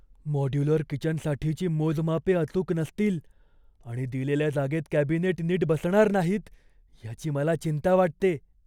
Modular किचनसाठीची मोजमापे अचूक नसतील आणि दिलेल्या जागेत कॅबिनेट नीट बसणार नाहीत याची मला चिंता वाटते.